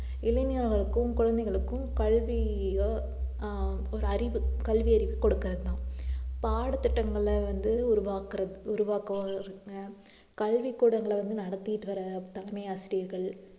இளைஞர்களுக்கும் குழந்தைகளுக்கும் கல்விய ஆஹ் ஒரு அறிவு கல்வி அறிவு கொடுக்கிறதுதான் பாடத்திட்டங்களை வந்து உருவாக்குற~ உருவாக்குறோம் அஹ் கல்வி கூடங்களை வந்து நடத்திட்டு வர தலைமை ஆசிரியர்கள்